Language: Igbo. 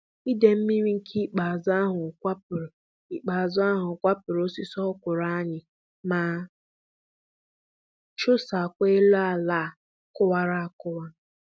Idei mmiri nke ikpeazụ ahụ kwapụrụ ikpeazụ ahụ kwapụrụ osisi ọkwụrụ anyị ma chụsaakwa elu ala a kọwara akọwa.